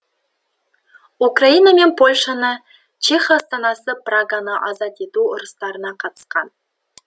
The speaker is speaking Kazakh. украина мен польшаны чех астанасы праганы азат ету ұрыстарына қатысқан